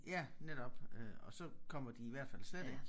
Ja netop øh og så kommer de i hvert fald slet ikke